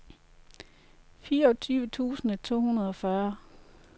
fireogtyve tusind to hundrede og fyrre